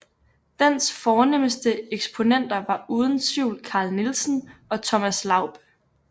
Dens fornemste eksponenter var uden tvivl Carl Nielsen og Thomas Laub